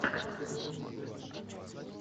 сериал голос дети